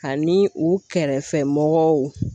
Ani u kɛrɛfɛ mɔgɔw